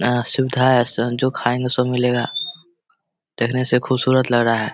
यहाँ सुविधा है जो खायेंगे सब मिलेगा देखने से खुबसूरत लग रहा है।